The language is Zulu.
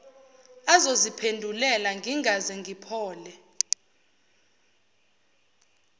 azoziphendulela ngingaze ngiphole